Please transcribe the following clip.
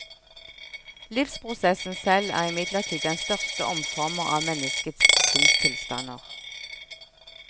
Livsprosessen selv er imidlertid den største omformer av menneskets sinnstilstander.